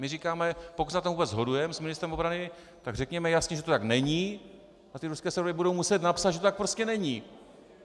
My říkáme, pokud se na tom vůbec shodujeme s ministrem obrany, tak řekněme jasně, že to tak není a ty ruské servery budou muset napsat, že to tak prostě není.